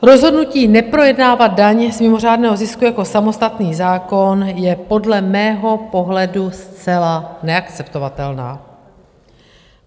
Rozhodnutí neprojednávat daň z mimořádného zisku jako samostatný zákon je podle mého pohledu zcela neakceptovatelné.